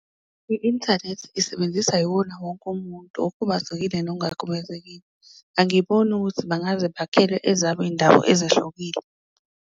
I-inthanethi isebenzisa iwona wonke umuntu okhubazekile nongakhubazekile, angiboni ukuthi bangaze bakhele ezabo iyindawo ezehlukile.